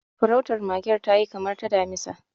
Farautar magen ta yi kamar ta damisa.